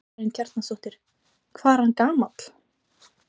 Karen Kjartansdóttir: Hvað er hann gamall?